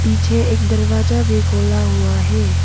पीछे एक दरवाजा भी खोला हुआ है।